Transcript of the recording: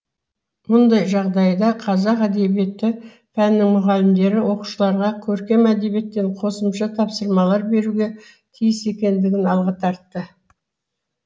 мұндай жағдайда қазақ әдебиеті пәнінің мұғалімдері оқушыларға көркем әдебиеттен қосымша тапсырмалар беруге тиіс екендігін алға тартты